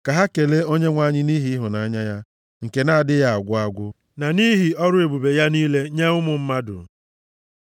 Ka ha kelee Onyenwe anyị nʼihi ịhụnanya ya, nke na-adịghị agwụ agwụ na nʼihi ọrụ ebube ya niile nye ụmụ mmadụ,